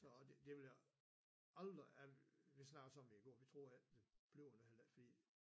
Så det det vil jeg aldrig jeg vi snakkede også om det i går vi troede ikke det blev det heller ikke fordi